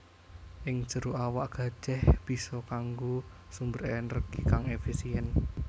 Ing jero awak gajèh bisa kanggo sumber ènèrgi kang èfisièn